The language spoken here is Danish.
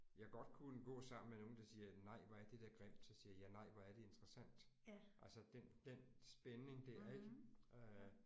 Jeg godt kunne gå sammen med nogen der siger nej hvor er det der grimt så siger jeg nej hvor er det interessant. Altså den den spænding der ik øh